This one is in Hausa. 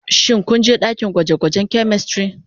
Shin ku je dakin gwaje-gwajen " chemistry"